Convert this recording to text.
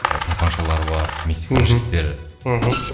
тапаншалары бар мексиканың мхм жігіттері мхм